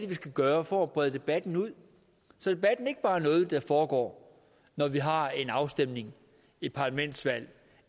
vi skal gøre for at brede debatten ud så debatten ikke bare er noget der foregår når vi har en afstemning et parlamentsvalg